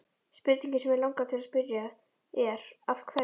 Spurningin sem mig langar til að spyrja er: Af hverju?